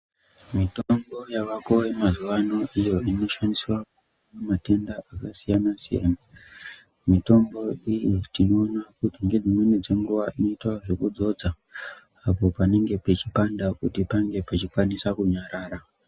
Mitombo yavako yemazuvano iyo inoshandiswa pamatenda akasiyana siyana mitombo iyi tinomwa ngedzimweni dzenguwa inoita zvekudzodzwa panenge pechipanda pange pechikwanisa kunyarara.